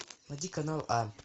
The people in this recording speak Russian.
найди канал а